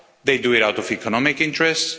They do it out of economic interest.